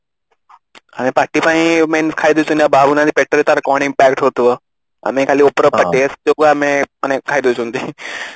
ପାଟି ପାଇଁ ଆମେ ଖାଇ ଦଉଛେ ସିନା ଭାବୁ ନାଇଁ ଯେ ପେଟରେ ତାର କଣ impact ହଉଥିବା ମାନେ ଖାଲି ଉପର taste ଯୋଗୁଁ ଆମେ ମାନେ ଖାଇ ଦଉଛନ୍ତି